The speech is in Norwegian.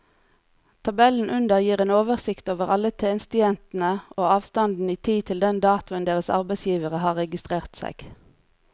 Tabellen under gir en oversikt over alle tjenestejentene og avstanden i tid til den datoen deres arbeidsgivere har registrert seg.